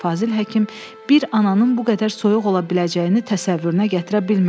Fazil Həkim bir ananın bu qədər soyuq ola biləcəyini təsəvvürünə gətirə bilmirdi.